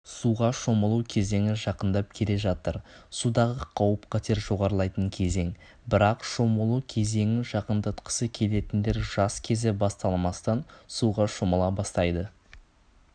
суға шомылу кезеңі жақындап келе жатыр судағы қауіп-қатер жоғарылайтын кезең бірақ шомылу кезеңін жақындатқысы келетіндер жаз кезі басталмастан суға шомыла бастайды